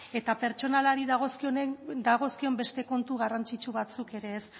eta pertsonalari dagozkion beste kontu garrantzitsu batzuk ere ez